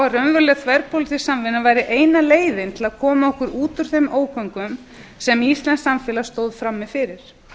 raunveruleg þverpólitísk samvinna væri eina leiðin til að koma okkur út úr þeim ógöngum sem íslenskt samfélag stóð frammi fyrir